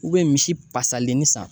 misi pasalenni san